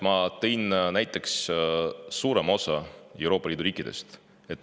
Ma tõin näiteks suurema osa Euroopa Liidu riikidest.